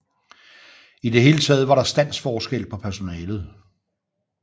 I det hele taget var der standsforskel på personalet